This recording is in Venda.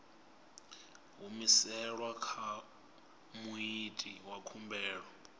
humiselwa kha muiti wa khumbelo